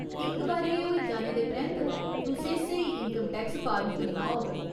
इक बारी एह् होई जाने दे परैंत्त, तुसें स्हेई इन्कम टैक्स फार्म चुनना होग।